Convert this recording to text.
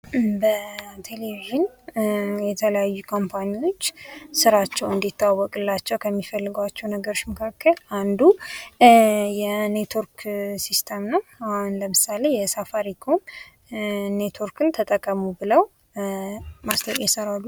በቴሌቭዥን የተለያዩ ካምፓኒዎች ስራቸው እንዲተዋወቅላቸው ከሚፈልጓቸው ነገሮች መካከል አንዱ የኔትዎርክ ሲይስተም ነው አሁን ለምሳሌ የሳፋሪኮም ኔትዎርክን ተጠቀሙ ብለው ማስታወቂያ ይሰራሉ።